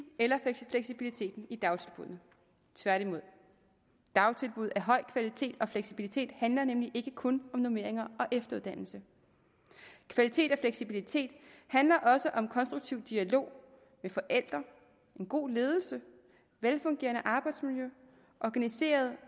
eller fleksibiliteten i dagtilbuddene tværtimod dagtilbud af høj kvalitet og fleksibilitet handler nemlig ikke kun om normeringer og efteruddannelse kvalitet og fleksibilitet handler også om en konstruktiv dialog med forældre en god ledelse et velfungerende arbejdsmiljø organiseret